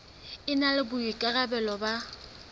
e na le boikarabelo ba